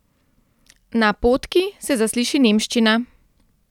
Na potki se zasliši nemščina.